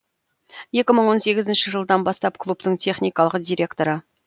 екі мың он сегізінші жылдан бастап клубтың техникалық директоры